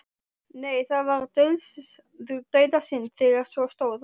Nei, það var dauðasynd þegar svo stóð á.